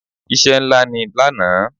Iṣẹ́ ńlá ni lánàá.